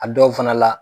A dɔw fana la